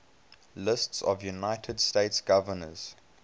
lists of united states governors